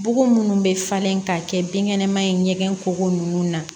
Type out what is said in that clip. Bugu munnu bɛ falen ka kɛ binkɛnɛma ye ɲɛgɛn kuru ninnu na